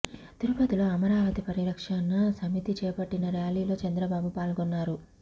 తిరుపతిలో అమరావతి పరిరక్షణ సమితి చేపట్టిన ర్యాలీలో చంద్రబాబు పాల్గొన్నారు